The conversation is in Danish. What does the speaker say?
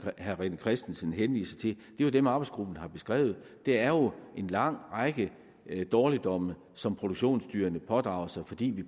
herre rené christensen henviser til er jo dem arbejdsgruppen har beskrevet det er jo en lang række dårligdomme som produktionsdyrene pådrager sig fordi vi